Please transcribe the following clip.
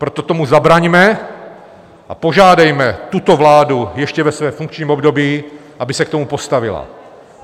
Proto tomu zabraňme a požádejme tuto vládu ještě ve svém funkčním období, aby se k tomu postavila.